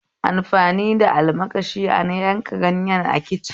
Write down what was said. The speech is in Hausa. Amfani da almakashi a yanka ganyen a kicin